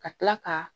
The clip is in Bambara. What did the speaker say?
Ka tila ka